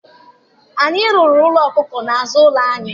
Anyị rụrụ ụlọ ọkụkọ n'azụ ụlọ anyị